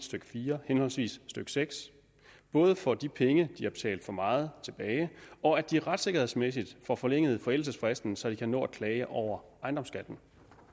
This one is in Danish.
stykke fire henholdsvis stykke seks både får de penge de har betalt for meget tilbage og at de retssikkerhedsmæssigt får forlænget forældelsesfristen så de kan nå at klage over ejendomsskatten